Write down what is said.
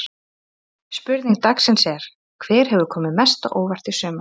Spurning dagsins er: Hver hefur komið mest á óvart í sumar?